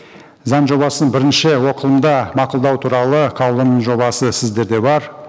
заң жобасын бірінші оқылымда мақұлдау туралы қаулының жобасы сіздерде бар